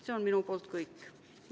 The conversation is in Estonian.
See on minu poolt kõik.